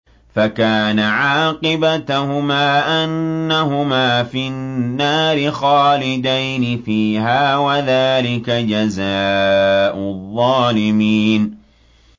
فَكَانَ عَاقِبَتَهُمَا أَنَّهُمَا فِي النَّارِ خَالِدَيْنِ فِيهَا ۚ وَذَٰلِكَ جَزَاءُ الظَّالِمِينَ